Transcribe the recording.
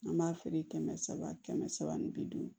An b'a feere kɛmɛ saba kɛmɛ saba ni bi duuru